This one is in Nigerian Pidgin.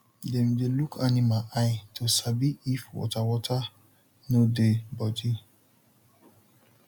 dem dey look animal eye to sabi if water water no dey body